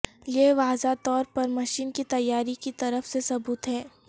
یہ واضح طور پر مشین کی تیاری کی طرف سے ثبوت ہے